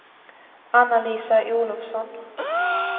Anna-Lisa Olovsson